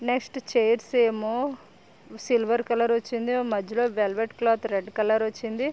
Next chairs ఏమో silver colour వచ్చింది. మధ్యలో వెల్వెట్ క్లాత్ రెడ్ కలర్ వచ్చింది.